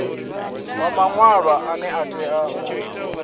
wa maṅwalwa ane a tea